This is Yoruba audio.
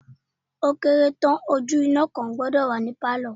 Ó kéré tán ojú iná kan gbọ́dọ̀ wà ní pálọ̀.